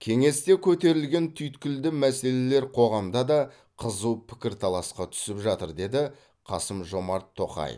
кеңесте көтерілген түйткілді мәселелер қоғамда да қызу пікірталасқа түсіп жатыр деді қасым жомат тоқаев